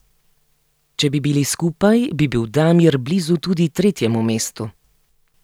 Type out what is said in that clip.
Če bi bili skupaj, bi bil Damir blizu tudi tretjemu mestu.